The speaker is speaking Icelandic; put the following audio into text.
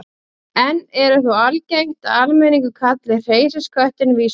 enn er þó algengt að almenningur kalli hreysiköttinn víslu